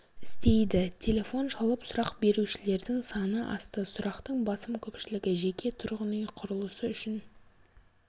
істейді телефон шалып сұрақ берушілердің саны асты сұрақтың басым көпшілігі жеке тұрғын үй құрылысы үшін